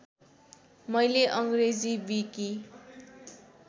मैले अङ्ग्रेजी विकि